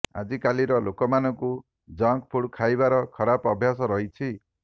ଆଜିକାଲିର ଲୋକମାନଙ୍କୁ junk food ଖାଇବାର ଖରାପ ଅଭ୍ୟାସ ରହିଛି